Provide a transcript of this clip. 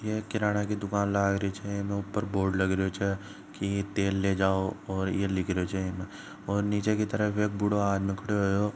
यह एक किराणा की दुकान लाग री छे में ऊपर बोर्ड लग लो छे की तेल ले जाव और ये लिख लो छे और निचे की तरफ एक बुढो आदमी खड़ो है।